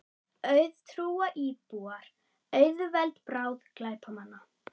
Auðtrúa íbúar auðveld bráð glæpamanna